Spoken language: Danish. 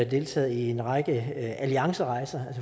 deltaget i en række alliancerejser